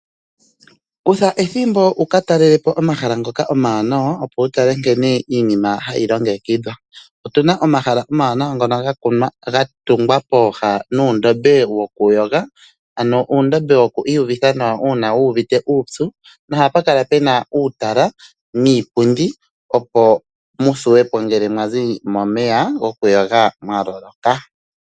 Kutha ethimbo wukatalele po omahala ngoka omawanawa opo wutale nkene iinima hayi longekidhwa. Otuna omahala omawanawa ngono gatungwa pooha nuundombe wokuyoga . Ano uundombe wo ku iyuvitha nawa ngele wuuvite uupyu . Ohapu kala puna uutala niipundi opo muthiwepo ngele mwazi momeya gokuyoga mwaloloka.